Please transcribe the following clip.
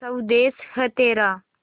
स्वदेस है तेरा